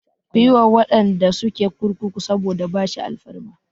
Ku yi wa waɗanda suke kurkuku saboda bashi alfarma!